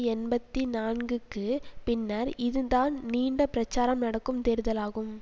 எண்பத்தி நான்குக்கு பின்னர் இதுதான் நீண்ட பிரச்சாரம் நடக்கும் தேர்தலாகும்